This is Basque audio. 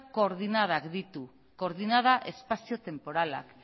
koordenadak ditu koordenada espazio tenporalak